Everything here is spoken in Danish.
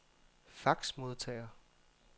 faxmodtager